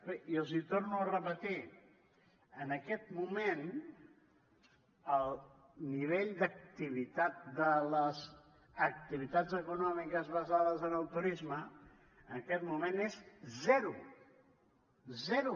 bé i els ho torno a repetir en aquest moment el nivell d’activitat de les activitats econòmiques basades en el turisme en aquest moment és zero zero